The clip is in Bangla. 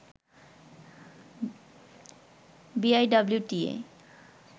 বিআইডব্লিউটিএ